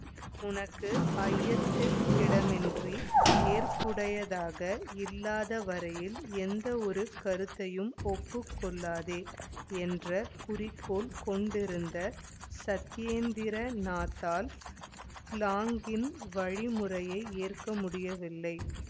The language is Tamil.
உனக்கு ஐயத்திற்கிடமின்றி ஏற்புடையதாக இல்லாத வரையில் எந்த ஒரு கருத்தையும் ஒப்புக்கொள்ளாதே என்ற குறிக்கோள் கொண்டிருந்த சத்யேந்திரநாத்தால் பிளாங்கின் வழிமுறையை ஏற்க முடியவில்லை